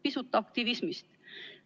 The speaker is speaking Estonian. Pisut aktivismist.